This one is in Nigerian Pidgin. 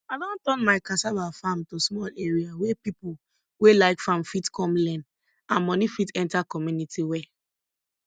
i don turn my cassava farm to small area wey people wey like farm fit come learn and money fit enter community well